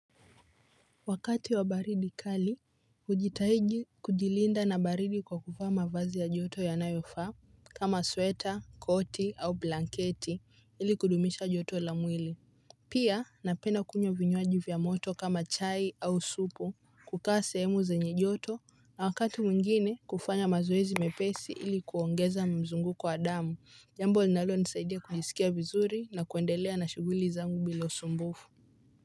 Wakati wa baridi kali, hujitahidi kujilinda na baridi kwa kuvaa mavazi ya joto yanayofaa kama sweta, koti au blanketi ili kudumisha joto la mwili. Pia napenda kunywa vinywaji vya moto kama chai au supu kukaa sehemu zenye joto na wakati mwingine kufanya mazoezi mepesi ili kuongeza mzunguko wa damu jambo linalonisaidia kujisikia vizuri na kuendelea na shughuli zangu bila usumbufu.